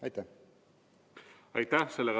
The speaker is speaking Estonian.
Aitäh!